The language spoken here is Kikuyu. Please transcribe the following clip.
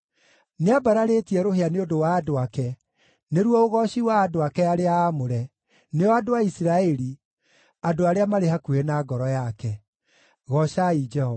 Nĩambararĩtie rũhĩa nĩ ũndũ wa andũ ake, nĩruo ũgooci wa andũ ake arĩa aamũre, nĩo andũ a Isiraeli, andũ arĩa marĩ hakuhĩ na ngoro yake. Goocai Jehova.